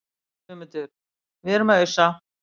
GUÐMUNDUR: Við erum að ausa.